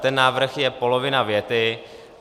Ten návrh je polovina věty.